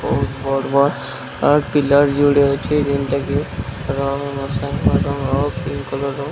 ବହୁତ ପଡିବା ଆଉ ପିଲା ଜୁଡେ ଏଠି --